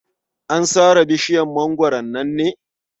An sare bisjiyar mangwaron nan ne?